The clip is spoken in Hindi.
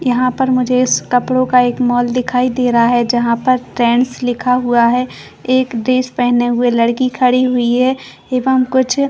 यहाँ पर मुझे कपड़ो का मॉल दिखाई दे रहा है जहाँ पे ट्रेंडस लिखा हुआ है एक ड्रेस पहने हुए लड़की खड़ी हुई है एवं कुछ--